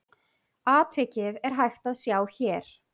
Atvikið er hægt að sjá hér.